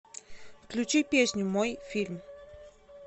включи песню мой фильм